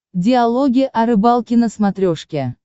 диалоги о рыбалке на смотрешке